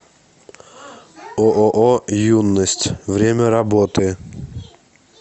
ооо юность время работы